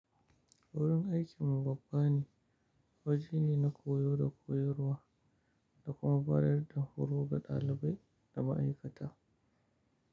Wurin aikinmu babba ne, waje ne na koyo da koyarwa da kuma bada yarda da horo ga ɗalibai da ma'aikata.